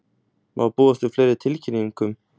Má búast við fleiri tilkynningum?